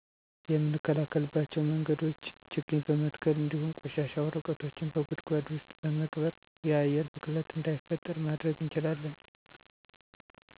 የምንከላከልባቸው መንገዶቾ ችግኝ በመትከል እንዱሁም ቆሻሻ ወረቀቶችን በጉድጓድ ውስጥ በመቅበር። የአየር ብክለት እዳይፈጠር ማድረግ እንችላለን።